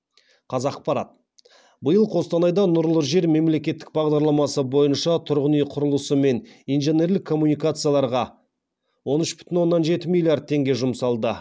қазақпарат биыл қостанайда нұрлы жер мемлекеттік бағдарламасы бойынша тұрғын үй құрылысы мен инженерлік коммуникацияларға он үш бүтін оннан жеті миллиард теңге жұмсалды